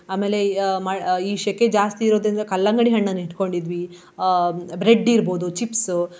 ಆಮೇಲೆ ಆ ಮ~ ಈ ಸೆಕೆ ಜಾಸ್ತಿ ಇರುವುದ್ರಿಂದ ಕಲ್ಲಂಗಡಿ ಹಣ್ಣನ್ನು ಇಡ್ಕೊಂಡಿದ್ವಿ ಆ bread ಇರ್ಬಹುದು chips .